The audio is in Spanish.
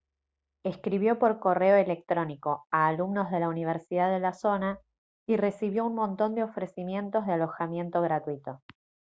escribió por correo electrónico a alumnos de la universidad de la zona y recibió un montón de ofrecimientos de alojamiento gratuito